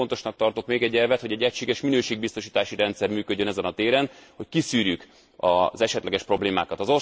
És nagyon fontosnak tartok még egy elvet, hogy egységes minőségbiztosítási rendszer működjön ezen a téren, hogy kiszűrjük az esetleges problémákat.